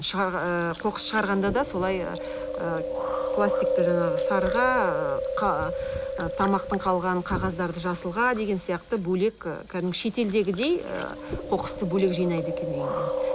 ыыы қоқыс шығарғанда да солай ы пластикті жаңағы сарыға тамақтың қалғанын қағаздарды жасылға деген сияқты бөлек ы кәдімгідей шетелдегідей ы қоқысты бөлек жинайды екен үйдінде